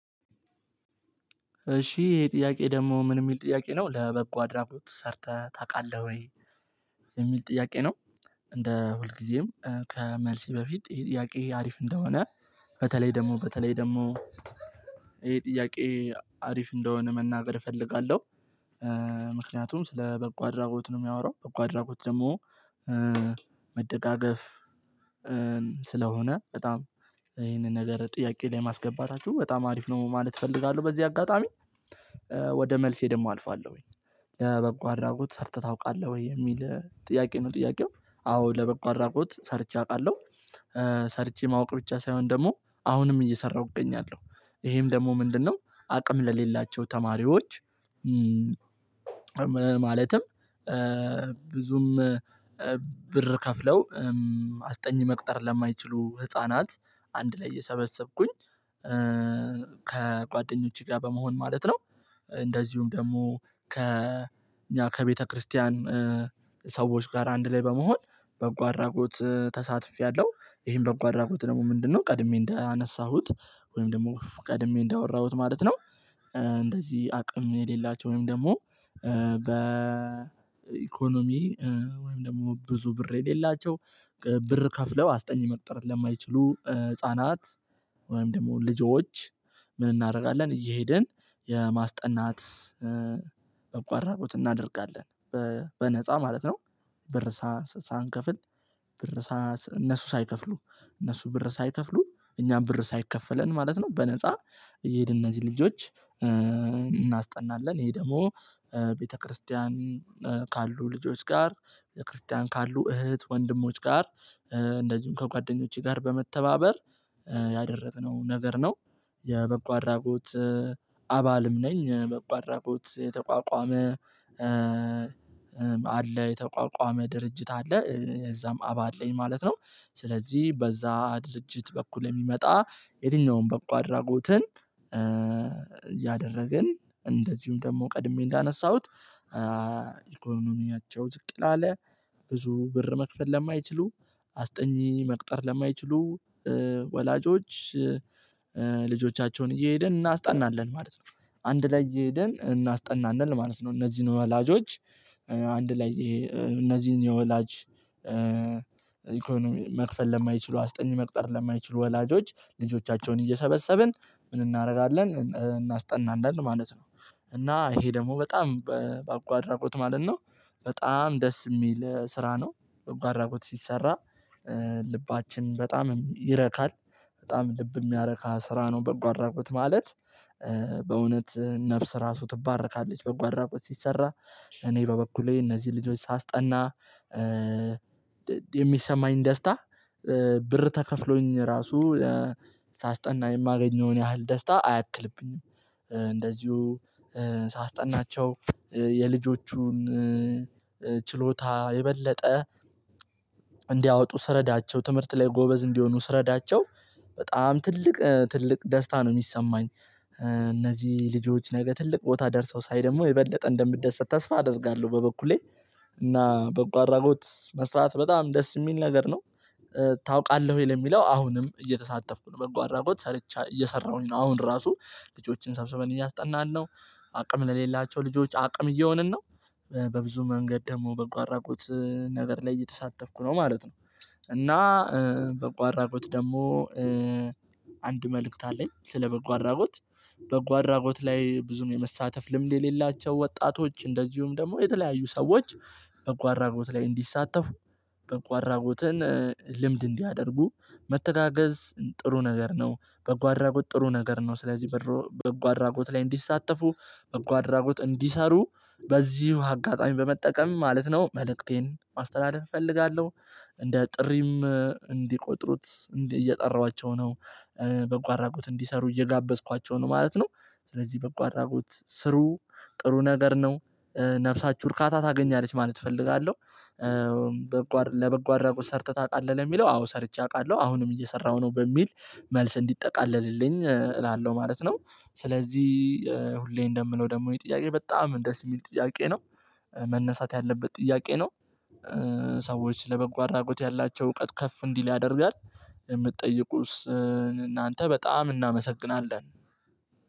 እሺ ይሄ ጥያቄ ደግሞ ምን የሚል ጥያቄ ነው ለበጎ አድራጎት ሰርተህ ታውቃለህ ወይ ጥያቄ ነው? እንደ ሁልጊዜም ከመልስ በፊት ጥያቄ አሪፍ እንደሆነ በተለይ ደግሞ በተለይ ደግሞ ይሄ ጥያቄ አሪፍ እንደሆነ መናገር እፈልጋለሁ። ስለ በቁ አድራጎት ነው የሚያወራው በቁ አድራጎት ደግሞ መደጋገፍ ስለሆነ በጣም ይሄንን ነገር ጥያቄ ላይ ማስገባት አችሁ በጣም አሪፍ ነው ማለት እፈልጋለሁ። በዚህ አጋጣሚ ወደ መልሴ ደግሞ አልፋለሁ። ወይ ለበብቋራቁት ሰርተህ ታውቃለህ ወይ የሚል ጥያቄ ነው? ጥያቄው አዎ ለበቃ አራቁት ሰርቼ አውቃለሁ። ሰርቼ ማወቅ ብቻ ሳይሆን ደግሞ አሁንም እየሰራሁ እገኛለሁ። ይሄም ደግሞ ምንድነው? አቅም ለሌላቸው ተማሪዎች ማለትም ብዙም ብር ከፍለው አስጠኝ መቅጠር ለማይችሉ ህፃናት አንድ ላይ የሰበሰብኩኝ ከጓደኞቼ ጋር በመሆን ማለት ነው። እንደዚሁም ደግሞ ከ ከቤተክርስቲያን ሰዎች ጋር አንድ ላይ በመሆን በጎ አድራጎት ተሳትፌያለሁ። ይሄን በጎ አድራጎት ደግሞ ምንድነው ቀድሜ እንዳነሳሁት ወይም ደግሞ ቀድሜ እንዳወራሁት ማለት ነው። እንደዚህ አቅም የሌላቸው ወይም ደግሞ በኢኮኖሚ ወይም ደግሞ ብዙ ብር የሌላቸው ብር ከፍለው አስጠኝ መቅጠር ለማይችሉ ህፃናት ወይም ደግሞ ልጆች ምን እናደርጋለን እየሄድን የማስጠናት በጎ አድራጎት እናደርጋለን። በነፃ ማለት ነው። ብር ሳንከፍል ብር እነሱ ሳይከፍሉ እነሱ ብር ሳይከፍሉ እኛም ብር ሳይከፈለን ማለት ነው። በነፃ እየሄድን እነዚህ ልጆች እናስጠናለን ይሄ ደግሞ ቤተክርስቲያን ካሉ ልጆች ጋር ቤተክርስቲያን ካሉ እህት ወንድሞች ጋር ከጓደኞቼ ጋር በመተባበር ያደረግነው ነገር ነው። የበጎ አድራጎት ነኝ በጎ አድራጎት የተቋቋመ አለ የተቋቋመ ድርጅት አለ። እዛም አባ አለኝ ማለት ነው። ስለዚህ በዛ ድርጅት በኩል የሚመጣ የትኛውንም በቁ አድራጎትን ያደረግን እንደዚሁም ደግሞ ቀድሜ እንዳነሳሁት ኢኮኖሚያቸው ዝቅ ያለ ብዙ ብር መክፈል ለማይችሉ አስጠኚ መቅጠር ለማይችሉ ወላጆች ልጆቻቸውን እየሄድን እናስጠናለን ማለት ነው። አንድ ላይ ይሄደን እናስጠናንል ማለት ነው እነዚህን ወላጆች አንድ ላይ እነዚህን የወላጅ ኢኮኖሚ መክፈል ለማይችሉ አስጠን መቅጠር ለማይችሉ ወላጆች ልጆቻቸውን እየሰበሰብን ምን እናደርጋለን እናስጠናለን ማለት ነው። እና ይሄ ደግሞ በጣም በአጓራጎት ማለት ነው። በጣም ደስ የሚል ስራ ነው። በአጓራጎት ሲሰራ ልባችን በጣም ይረካል። በጣም ልብ የሚያረካ ስራ ነው በጎ አድራጎት ማለት። ነፍስ ራሱ ትባረካለች አድራጎት ሲሰራ። እኔ በበኩሌ እነዚህ ልጆች ሳስጠና የሚሰማኝ ደስታ ብር ተከፍሎኝ ራሱ ሳስጠና የማገኘውን ያህል ደስታ አያክልብኝም። እንደዚሁ ሳስጠናቸው የልጆቹን ችሎታ የበለጠ እንዲያወጡ ስረዳቸው ትምህርት ላይ ጎበዝ እንዲሆኑ ስረዳቸው በጣም ትልቅ ትልቅ ደስታ ነው የሚሰማኝ። እነዚህ ልጆች ነገ ትልቅ ቦታ ደርሰው ሳይ ደግሞ የበለጠ እንደምደሰት ተስፋ አደርጋለሁ። በበኩሌ እና በጎ አራጎት መስራት በጣም ደስ የሚል ነገር ነው። ታውቃለህ ወይ ለሚለው አሁንም እየተሳተፍኩ ነው። በጎ አራጎት ሰርቼ እየሰራሁኝ ነው። አሁን ራሱ ልጆችን ሰብስበን እያስጠናን ነው። አቅም ለሌላቸው ልጆች አቅም እየሆንን ነው። በብዙ መንገድ ደግሞ በጎ አድራጎት ነገር ላይ እየተሳተፍኩ ነው ማለት ነው። እና በጎ አራጎት ደግሞ አንድ መልእክት አለኝ ስለ በጎ አድራጎት። በጎ አራጎት ላይ ብዙም የመሳተፍ ልምድ የሌላቸው ወጣቶች እንደዚሁም ደግሞ የተለያዩ ሰዎች በጎአድራጎት ላይ እንዲሳተፉ በጓአድራጎትን ልምድ እንዲያደርጉ መተጋገዝ ጥሩ ነገር ነው። በጎ አድራጎት ጥሩ ነገር ነው። ስለዚህ በጎ አድራጎት ላይ እንዲሳተፉ በጎ አድራጎት እንዲሰሩ በዚሁ አጋጣሚ በመጠቀም ማለት ነው መልእክቴን ማስተላለፍ እፈልጋለሁ። እንደ ጥሪም እንዲቆጥሩት እየጠራኋቸው ነው። በጎ አድራጎት እንዲሰሩ እየጋበዝኳቸው ነው ማለት ነው። ስለዚህ በቋራጎት ስሩ ጥሩ ነገር ነው። ነፍሳችሁ እርካታ ታገኛለች ማለት እፈልጋለሁ። ለበጎ አረቁት ሰርተህ ታውቃለህ ለሚለው አዎ ሰርቼ አውቃለሁ። አሁንም እየሰራሁ ነው በሚል መልስ እንዲጠቃለልልኝ እላለሁ ማለት ነው። ስለዚህ ሁሌ እንደምነው ደግሞ የጥያቄ በጣም እንደስ የሚል ጥያቄ ነው። መነሳት ያለበት ጥያቄ ነው። ሰዎች ለበጎ አድራጎት ያላቸው እውቀት ከፍ እንዲል ያደርጋል። የምትጠይቁስ እናንተ በጣም እናመሰግናለን።